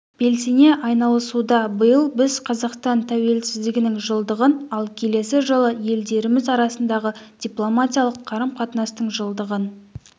белсене айналысуда биыл біз қазақстан тәуелсіздігінің жылдығын ал келесі жылы елдеріміз арасындағы дипломатиялық қарым-қатынастың жылдығын